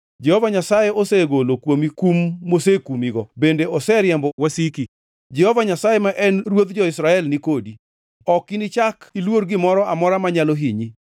Jehova Nyasaye osegolo kuomi kum mosekumigo bende oseriembo wasika. Jehova Nyasaye, ma en Ruodh jo-Israel ni kodi ok inichak iluor gimoro amora manyalo hinyi.